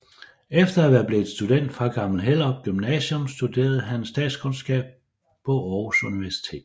Efter at være blevet student fra Gammel Hellerup Gymnasium studerede han statskundskab på Aarhus Universitet